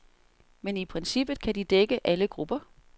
Men i princippet kan de dække alle grupper.